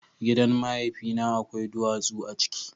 Gidan mahaifina akwai duwatsu a ciki.